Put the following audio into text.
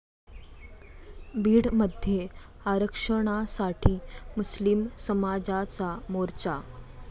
बीडमध्ये आरक्षणासाठी मुस्लीम समाजाचा मोर्चा